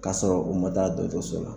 Kasɔrɔ u ma taa dɔɔtɔrɔso la